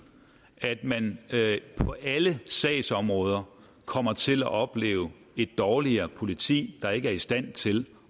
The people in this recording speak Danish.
at man på alle sagsområder kommer til at opleve et dårligere politi der ikke er i stand til